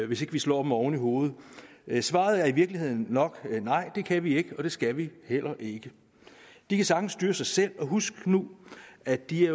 vi slår dem oven i hovedet svaret er i virkeligheden nok nej det kan vi ikke og det skal vi heller ikke de kan sagtens styre sig selv og husk nu at de